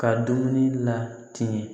Ka dumuni latigɛ